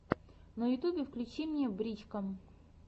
на ютубе включи мне брич ка